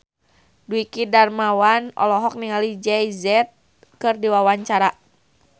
Dwiki Darmawan olohok ningali Jay Z keur diwawancara